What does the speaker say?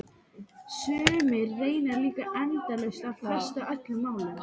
Sumir reyna líka endalaust að fresta öllum málum.